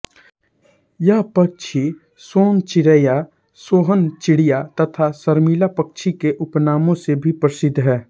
यह पक्षी सोन चिरैया सोहन चिडिया तथा शर्मिला पक्षी के उपनामों से भी प्रसिद्ध है